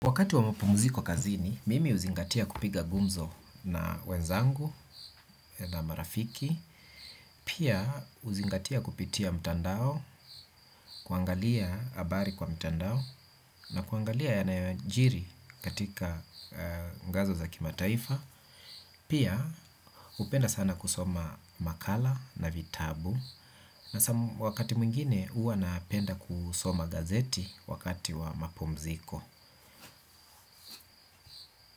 Wakati wa mapumziko kazini, mimi huzingatia kupiga gumzo na wenzangu na marafiki. Pia huzingatia kupitia mtandao, kuangalia abari kwa mtandao, na kuangalia yanayoajiri katika ngazo za kimataifa. Pia hupenda sana kusoma makala na vitabu. Na wakati mwingine huwa napenda kusoma gazeti wakati wa mapumziko.